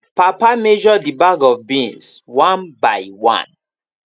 papa measure the bag of beans one by one